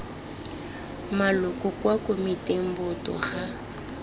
maloko kwa komiting boto ga